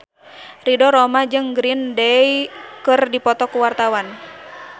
Ridho Roma jeung Green Day keur dipoto ku wartawan